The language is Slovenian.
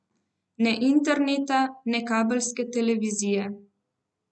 Ne interneta ne kabelske televizije.